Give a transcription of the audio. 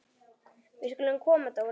Við skulum koma Dóri!